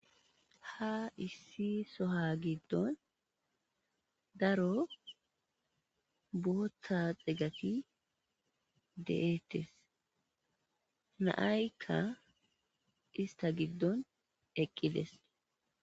Ha issi soha giddon daro booththa xegati de7ettes na'aykka istta giddon eqqides.